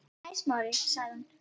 Hæ, Smári- sagði hún.